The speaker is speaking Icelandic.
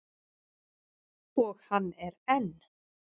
Og hann er enn.